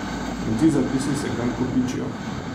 In ti zapisi se kar kopičijo.